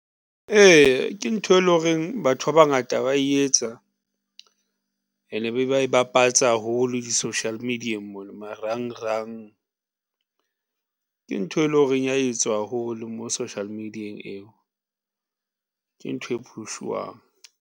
Ee, ke ntho e lo reng batho ba bangata ba etsa ene be ba e bapatsa holo di-social media-eng mona marangrang . Ke ntho e lo reng ya etswa haholo mo social media-eng eo ke ntho e phushwang.